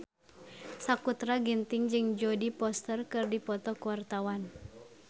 Sakutra Ginting jeung Jodie Foster keur dipoto ku wartawan